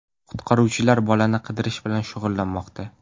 Qutqaruvchilar bolani qidirish bilan shug‘ullanmoqda.